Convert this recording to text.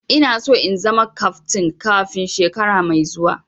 Ina so in zama kaftin kafin shekara mai zuwa